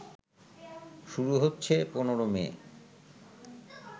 শুরু হচ্ছে ১৫ মে